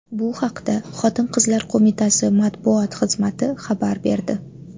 Bu haqda Xotin-qizlar qo‘mitasi matbuot xizmati xabar berdi.